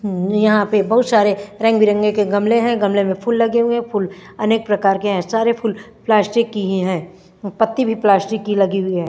हम यहाँ पे बहत सरे रंग बिरंगे के गमले है गमले पे फूल लगे हुए है फूल अनेक प्रकार की है सरे फूल प्लास्टिक की ही है पत्ती भी प्लास्टिक की ही लगी हुई है।